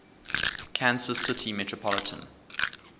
kansas city metropolitan